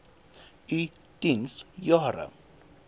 u diens jare